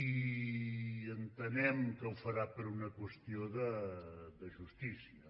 i entenem que ho farà per una qüestió de justícia